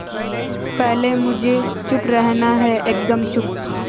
पहले मुझे चुप रहना है एकदम चुप